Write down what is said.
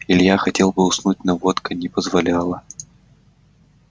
илья хотел бы уснуть но водка не позволяла